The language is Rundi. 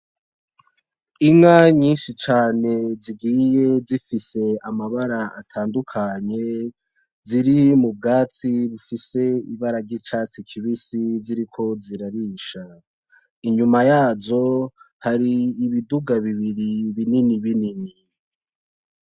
Inka nyinshi cane zigiye zifise amabara atandukanye ziri mubwatsi bufise ibara ryicatsi kibisi ziriko zirarisha inyuma yazo hari ibiduga bibiri binini binini.